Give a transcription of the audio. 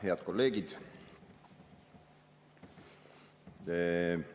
Head kolleegid!